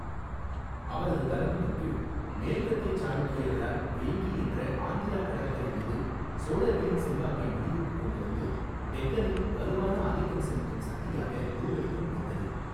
அவரது தலைமையின் கீழ், மேற்கத்திய சாளுக்கியர்களால் வேங்கி என்ற ஆந்திரா கடற்கரை மீது சோழர்களின் செல்வாக்கை முடிவுக்கு கொண்டு வந்து, டெக்கணில் வலுவான ஆதிக்கம் செலுத்தும் சக்தியாக உருவெடுக்க முடிந்தது.